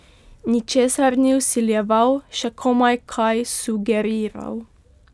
Ničesar ni vsiljeval, še komaj kaj sugeriral.